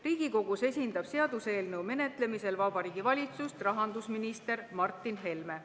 Riigikogus esindab seaduseelnõu menetlemisel Vabariigi Valitsust rahandusminister Martin Helme.